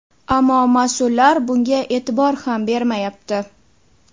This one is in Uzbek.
Ammo mas’ullar bunga e’tibor ham bermayapti”.